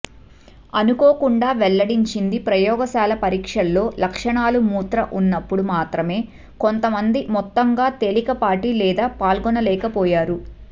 అనుకోకుండా వెల్లడించింది ప్రయోగశాల పరీక్షలో లక్షణాలు మూత్ర ఉన్నప్పుడు మాత్రమే కొంతమంది మొత్తంగా తేలికపాటి లేదా పాల్గొనలేకపోయారు